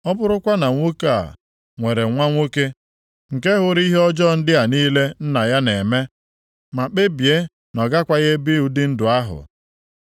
“Ọ bụrụkwa na nwoke a nwere nwa nwoke nke hụrụ ihe ọjọọ ndị a niile nna ya na-eme, ma kpebie na ọ gakwaghị ebi ụdị ndụ ahụ.